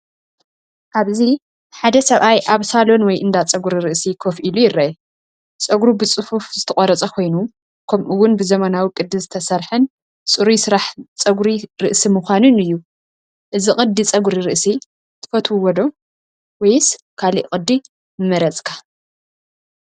ኣብዚ ሓደ ሰብኣይ ኣብ ሳሎን ወይ እንዳ ጸጉሪ ርእሲ ኮፍ ኢሉ ይርአ። ጸጉሩ ብጽፉፍ ዝተቖርጸ ኮይኑ፡ ከምኡ’ውን ብዘመናዊ ቅዲ ዝተሰርሐን ጽሩይ ስራሕ ጸጉሪ ርእሲ ምዃኑን እዩ። እዚ ቅዲ ጸጉሪ ርእሲ ትፈትውዎ ዶ? ወይስ ካልእ ቅዲ ምመረጽካ?